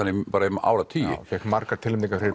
í áratugi hann fékk margar tilnefningar fyrir